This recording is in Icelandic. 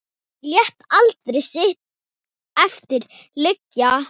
Lét aldrei sitt eftir liggja.